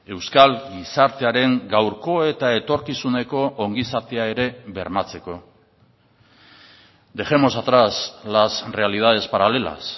euskal gizartearen gaurko eta etorkizuneko ongizatea ere bermatzeko dejemos atrás las realidades paralelas